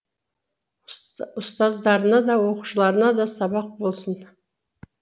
ұстаздарына да оқушыларына да сабақ болсын